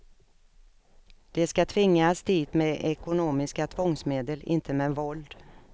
De ska tvingas dit med ekonomiska tvångsmedel, inte med våld.